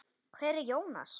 Hver er Jónas?